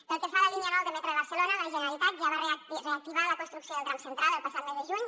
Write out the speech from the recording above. pel que fa a la línia nou del metro de barcelona la generalitat ja en va reactivar la construcció del tram central el passat mes de juny